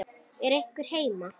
Er einhver heima?